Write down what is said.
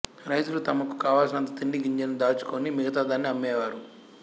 రైతులు తమకు కావలిసినంత తిండి గింజలను దాచుకొని మిగతా దాన్ని అమ్మేవారు